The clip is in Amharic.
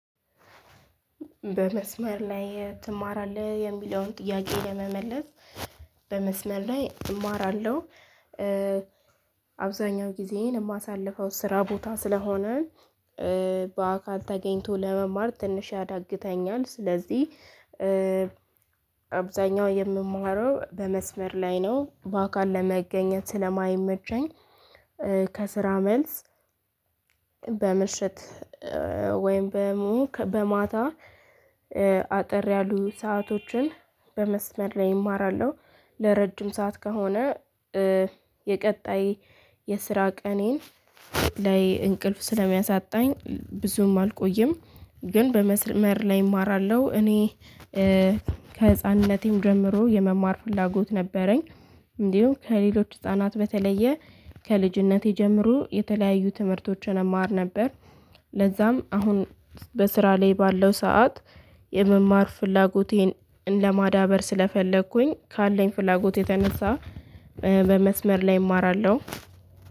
በመስመር ላይ ትማራለህ? የሚለውን ጥያቄ ለመመለስ በመስመር ላይ እማራለሁ አብዛኛው ጊዜዬን የማሳልፈው ስራ ቦታ ስለሆነ በአካል ተገኝቶ ለመማር ትንሽ ያዳግተኛል ስለዚህ አብዛኛው የምማረው በመስመር ላይ ነው በአካል ለመገኘት ስለማይመቸኝ ከስራ መልስ በምሽት ወይም በሙክ በማታ አጠር ያሉ ሰአቶችን በመስመር ላይ እማራለሁ ለረጅም ሰዓት ከሆነ የቀጣይ የስራ ቀኔን ላይ እንቅልፍ ስለሚያሳጣኝ ብዙም አልቆይም ግን በመስመር ላይ እማራለሁ እኔ ከህፃንነቴም ጀምሮ የመማር ፍላጎት ነበረኝ እንዲሁም ከሌሎች ህፃናት በተለየ ከልጅነቴ ጀምሮ የተለያዩ ትምህርቶችን እማር ነበር ለዛም አሁን በስራ ላይ ባለው ሰዓት የመማር ፍላጎቴን ለማዳበር ስለፈለኩኝ ካለኝ ፍላጎት የተነሳ በመስመር ላይ እማራለሁ